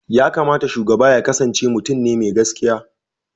yakamata shugaba yaƙasance mutun ne me gaskiya